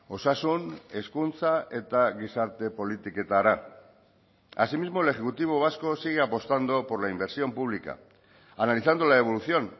osasun hezkuntza eta gizarte politiketara asimismo el ejecutivo vasco sigue apostando por la inversión pública analizando la evolución